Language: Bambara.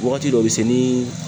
Wagati dɔ be se nii